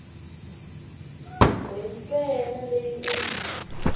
we ntsena leyi u yi